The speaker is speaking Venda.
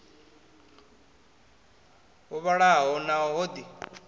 ho vhalaho naho ho ḓi